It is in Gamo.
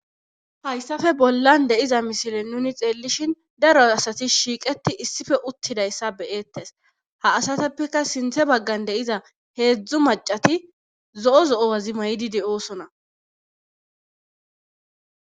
hayssafe bollan deyiza misile nuni xeellishin daro asatis shiiqeti issife uttidayssa beyeettes ha asateppeka sinthe baggan deiza heedzdzu macati zo7o zo7o wazi maydide oosona